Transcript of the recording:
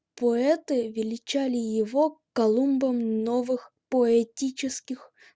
поэты величали его колумбом новых поэтических